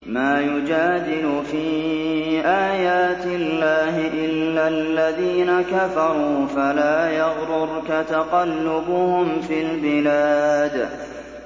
مَا يُجَادِلُ فِي آيَاتِ اللَّهِ إِلَّا الَّذِينَ كَفَرُوا فَلَا يَغْرُرْكَ تَقَلُّبُهُمْ فِي الْبِلَادِ